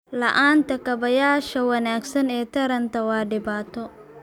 La'aanta kaabayaasha wanaagsan ee taranta waa dhibaato.